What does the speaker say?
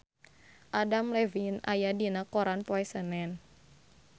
Adam Levine aya dina koran poe Senen